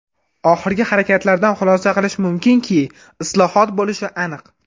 Oxirgi harakatlardan xulosa qilish mumkinki, islohot bo‘lishi aniq.